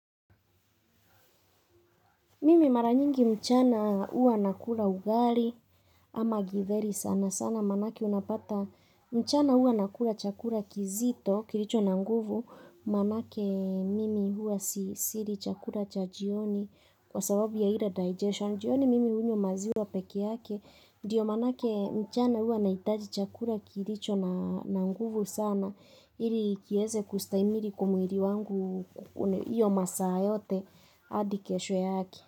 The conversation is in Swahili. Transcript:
Mimi mara nyingi mchana huwa nakula ugali ama githeri sana sana manake unapata mchana huwa nakula chakula kizito kilicho na nguvu manake mimi huwa sili chakula cha jioni kwa sababu ya ile digestion jioni mimi hunyea maziwa peke yake ndiyo manake mchana huwa naitaji chakula kilicho na nguvu sana ili kieze kustahimili kwa mwili wangu kwa hiyo masaa yote hadi kesho yake.